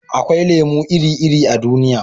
akwai lemo iri-iri a duniya